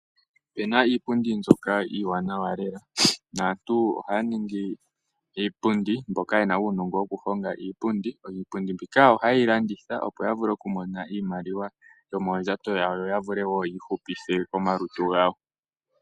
Ope na iipundi mbyoka iiwanawa lela, naantu ohaya ningi iipundi mboka ye na uunongo woku honga iipundi. Iipundi mbika ohayi ye yi landitha opo ya vule okumona iimaliwa yomoondjato dhawo yo ya vule woo okwii hupitha omalutu gawo.